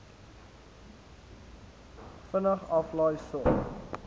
vinnig aflaai sorg